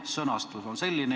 Sõnastus on selline.